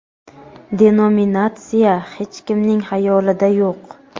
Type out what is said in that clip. denominatsiya hech kimning hayolida yo‘q.